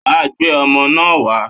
Wàá gbé ọmọ náà wá.